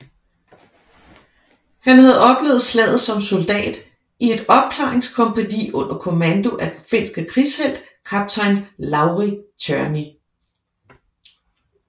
Han havde oplevet slaget som soldat i et opklaringskompagni under kommando af den finske krigshelt kaptajn Lauri Törni